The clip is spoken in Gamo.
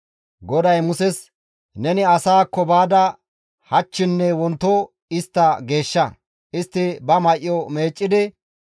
GODAY Muses, «Neni asaakko baada hachchinne wonto istta geeshsha. Istti ba may7o meeccidi,